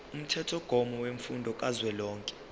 umthethomgomo wemfundo kazwelonke